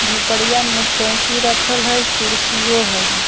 झोपड़िया मे चउकी रखल हय कुर्सियो हय।